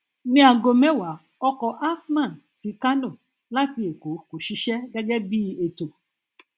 ní ago mẹwa ọkọ azman sí kánò láti èkó kò ṣiṣẹ gẹgẹ bí ètò